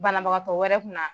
Banabagatɔ wɛrɛ kun na